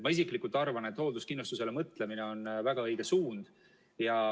Ma isiklikult arvan, et hoolduskindlustusele mõtlemine on väga õige suund.